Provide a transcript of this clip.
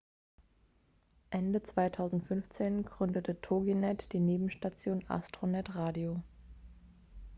ende 2015 gründete toginet die nebenstation astronet radio